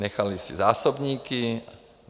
Nechali si zásobníky.